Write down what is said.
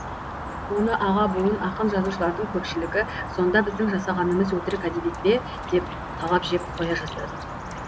оны аға буын ақын жазушылардың көпшілігі сонда біздің жасағанымыз өтірік әдебиет пе деп талап жеп қоя жаздады